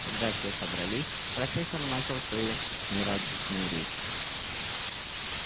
когда все собрались профессор начала свою нерадостную речь